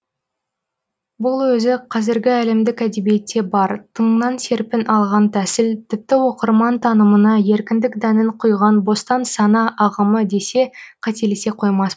бұл өзі қазіргі әлемдік әдебиетте бар тыңнан серпін алған тәсіл тіпті оқырман танымына еркіндік дәнін құйған бостан сана ағымы десе қателесе қоймас